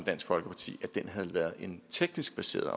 dansk folkeparti havde været en teknisk baseret